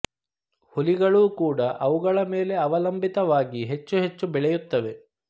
ಹುಲಿಗಳೂ ಕೂಡಾ ಅವುಗಳ ಮೇಲೆ ಅವಲಂಭಿತವಾಗಿ ಹೆಚ್ಚು ಹೆಚ್ಚು ಬೆಳೆಯುತ್ತವೆ